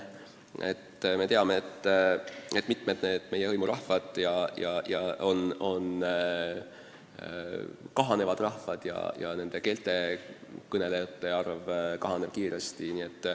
On ju teada, et mitmed meie hõimurahvad on kahanevad rahvad ja nende keelte kõnelejate arv väheneb kiiresti.